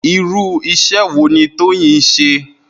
Irú is̩é̩ wo ni Tóyìn ń s̩e?